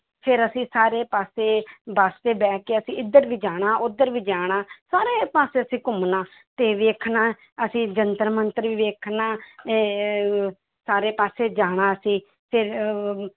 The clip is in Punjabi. ਫਿਰ ਅਸੀਂ ਸਾਰੇ ਪਾਸੇ ਬਸ ਤੇ ਬਹਿ ਕੇ ਅਸੀਂ ਇੱਧਰ ਵੀ ਜਾਣਾ, ਉੱਧਰ ਵੀ ਜਾਣਾ ਸਾਰੇ ਪਾਸੇ ਅਸੀਂ ਘੁੰਮਣਾ ਤੇ ਵੇਖਣਾ, ਅਸੀਂ ਜੰਤਰ ਮੰਤਰ ਵੀ ਵੇਖਣਾ ਤੇ ਸਾਰਾ ਪਾਸੇ ਜਾਣਾ ਅਸੀਂ ਫਿਰ